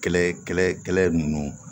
Kɛlɛ kɛlɛ kɛlɛ ninnu